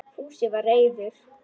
Fúsi var reiður.